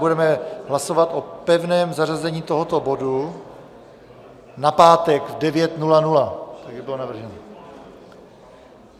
Budeme hlasovat o pevném zařazení tohoto bodu na pátek v 9.00, jak bylo navrženo.